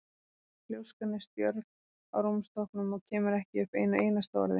Ljóskan er stjörf á rúmstokknum og kemur ekki upp einu einasta orði.